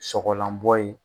Sɔgɔlanbɔ ye.